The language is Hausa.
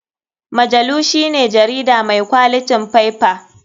Majalu shine jarida mai kwalitin faiffa.